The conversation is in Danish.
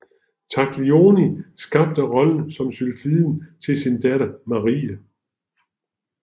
Taglioni skabte rollen som sylfiden til sin datter Marie